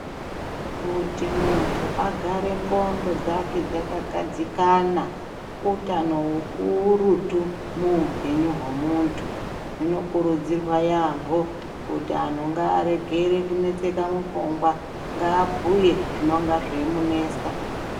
Kuti muntu agare ndxondo dzake dzakagadzikana, utano hukurutu muupenyu hwemuntu. Zvinokurudzirwa yaamho kuti anhu ngaregere kunetseka mupfungwa. Ngabhuye zvinonga zveimunetsa.